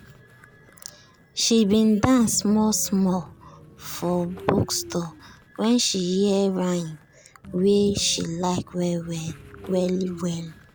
she bin dance small small for bookstore when she hear rhythm wey she like well well. well well.